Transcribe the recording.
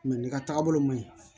ne ka taaga bolo ma ɲi